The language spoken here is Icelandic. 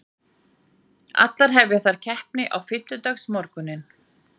Allar hefja þær keppni á fimmtudagsmorguninn